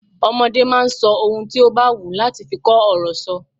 Ọmọde máa ń sọ ohun tí ó bá wù wọ́n láti fi kó ọ̀rọ̀ sọ.